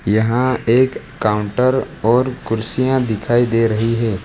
यहां एक काउंटर और कुर्सियां दिखाई दे रही हैं।